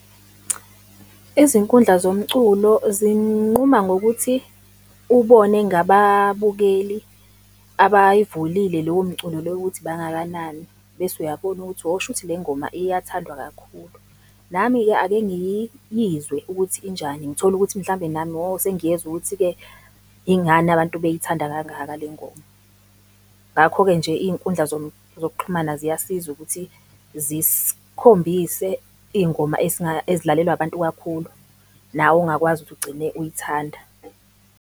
Izinkundla zomculo zinquma ngokuthi ubone ngababukeli abayivulile lowo mculo lowo ukuthi bangakanani, bese uyabona ukuthi oh, shuthi le ngoma iyathandwa kakhulu. Nami-ke ake ngiyizwe ukuthi injani, ngithole ukuthi mhlawumbe nami oh, sengiyezwa ukuthi-ke ingani abantu beyithanda kangaka lengoma? Ngakho-ke nje iy'nkundla zokuxhumana ziyasiza ukuthi ziskhombise iy'ngoma ezidlalelwa abantu kakhulu, nawe ongakwazi ukuthi ugcine uyithanda.